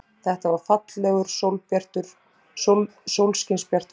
Þetta var fallegur, sólskinsbjartur dagur.